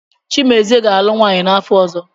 Chimezie ga-alụ nwaanyị n’afọ ọzọ.